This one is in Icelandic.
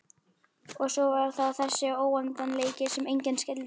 Og svo var það þessi óendanleiki sem enginn skildi.